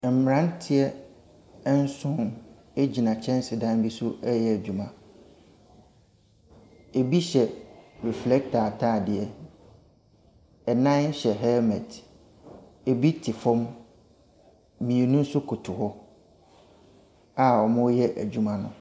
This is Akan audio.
Mmranteɛ nson gyina kyɛnsedan so reyɛ adwuma. Ebi hyɛ reflecter ataadeɛ. Nan hyɛ helmet. Ebi te fam. Ebi nso koto hɔ a wɔreyɛ adwuma no.